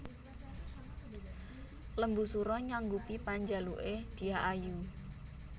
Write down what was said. Lembusura nyanggupi panjaluke Dyah Ayu